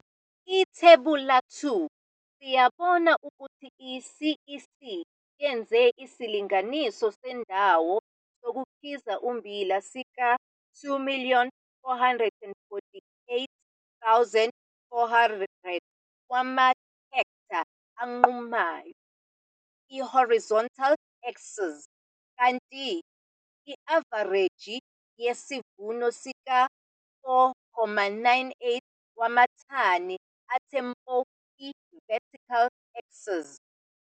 IThebula 2, siyabona ukuthi i-CEC yenze isilinganiso sendawo yokukhiza ummbila sika-2 448 400 wamahektha anqumayo, i-horizontal axis, kanti i-avareji yesivuno sika-4,98 wamathani athe mpo, i-vertical axis.